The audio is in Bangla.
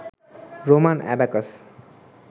Roman abacus